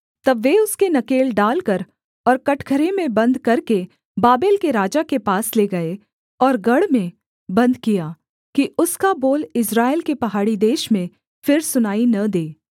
तब वे उसके नकेल डालकर और कठघरे में बन्द करके बाबेल के राजा के पास ले गए और गढ़ में बन्द किया कि उसका बोल इस्राएल के पहाड़ी देश में फिर सुनाई न दे